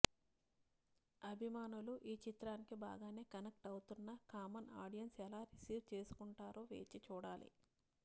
అభిమానులు ఈ చిత్రానికి బాగానే కనెక్ట్ అవుతున్నా కామన్ ఆడియన్స్ ఎలా రిసీవ్ చేసుకుంటారో వేచి చూడాలి